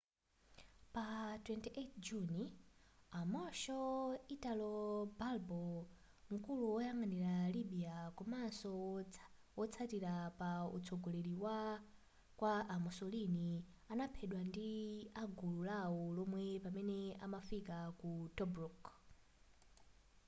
pa 28 juni a marshal italo balbo nkulu woyang'anira libya komanso wotsatira pa utsogoleri kwa a mussolini anaphedwa ndi agulu lawo lomwe pamene amafika ku tobruk